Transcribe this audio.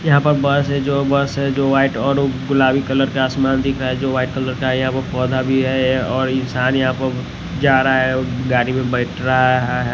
यहां पर बस है जो बस है जो वाइट और गुलाबी कलर के आसमान दिख रहा है जो वाइट कलर का यहां पे पौधा भी है और इंसान यहां पर जा रहा है और गाड़ी में बैठ रहा है।